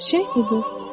Çiçək dedi: